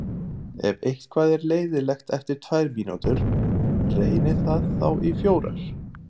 Ef eitthvað er leiðinlegt eftir tvær mínútur, reynið það þá í fjórar.